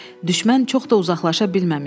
Düşmən çox da uzaqlaşa bilməmişdi.